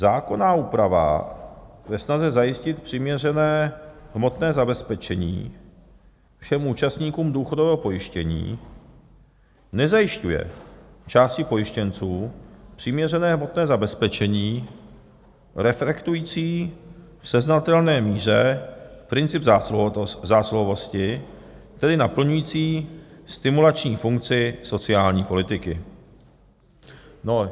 Zákonná úprava ve snaze zajistit přiměřené hmotné zabezpečení všem účastníkům důchodového pojištění nezajišťuje části pojištěnců přiměřené hmotné zabezpečení reflektující v seznatelné míře princip zásluhovosti, tedy naplňující stimulační funkci sociální politiky.